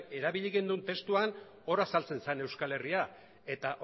erabili genuen testuan hor azaltzen zen euskal herria eta